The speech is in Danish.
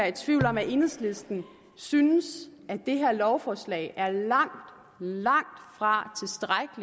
i tvivl om at enhedslisten synes at det her lovforslag er langt langt fra